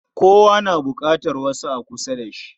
Kowa na buƙatar wasu a kusa da shi.